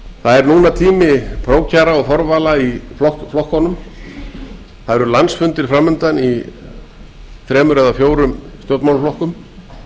það er núna tími prófkjara og forvala í flokkunum það eru landsfundir fram undan í þremur eða fjórum stjórnmálaflokkum